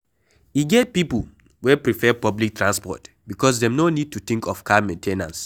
E get pipo wey prefer public transport because dem no need to think of car main ten ance